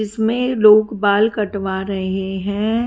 इसमें लोग बाल कटवा रहे हैं।